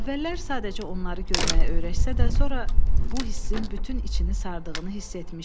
Əvvəllər sadəcə onları görməyə öyrəşsə də, sonra bu hissin bütün içini sardığını hiss etmişdi.